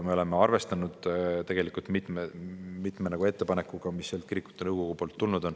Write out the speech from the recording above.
Me oleme arvestanud tegelikult mitme ettepanekuga, mis on kirikute nõukogult tulnud.